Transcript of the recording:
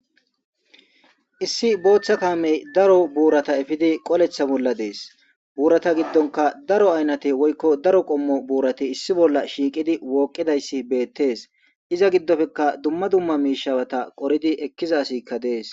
Issi botha kame daro burata efidi qoleta bola des burata gidonka daro ayinate woyikko daeo qommo burati issi bola shiiqidi woqidayis betes iza gidoppeka dumma dumma miishata qoridi ekiza asika des.